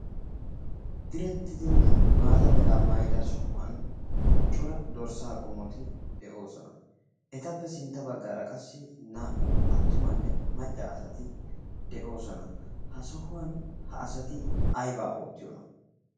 Direttidinne maata meraa maayyida sohuwan cora dorssa qommoti de'oosona. Etappe sintta baggaara qassi naa"u attumanne macca asati doosona. Ha sohuwan ha asati aybba ootriyoona?